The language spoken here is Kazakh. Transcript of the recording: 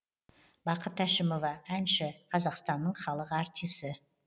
бақыт әшімова әнші қазақстанның халық артисі